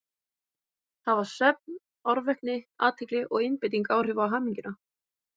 Hafa svefn, árvekni, athygli og einbeiting áhrif á hamingjuna?